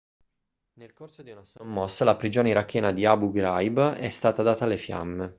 nel corso di una sommossa la prigione irachena di abu ghraib è stata data alle fiamme